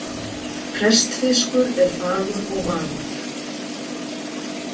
Prestfiskur er fagur og magur.